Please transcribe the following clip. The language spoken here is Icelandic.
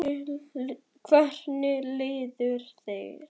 Þorbjörn: Hvernig líður þér?